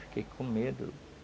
Fiquei com medo.